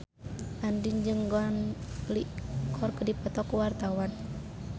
Andien jeung Gong Li keur dipoto ku wartawan